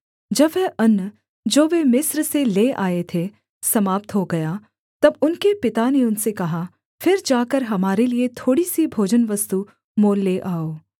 जब वह अन्न जो वे मिस्र से ले आए थे समाप्त हो गया तब उनके पिता ने उनसे कहा फिर जाकर हमारे लिये थोड़ी सी भोजनवस्तु मोल ले आओ